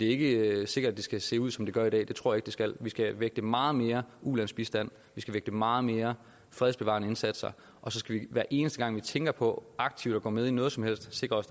ikke sikkert at det skal se ud som det gør i dag det tror ikke det skal vi skal vægte meget mere ulandsbistand vi skal vægte meget mere fredsbevarende indsatser og så skal vi hver eneste gang vi tænker på aktivt at gå med i noget som helst sikre os